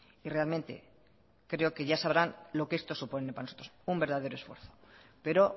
y realmente creo que ya sabrán lo que esto supone para nosotros un verdadero esfuerzo pero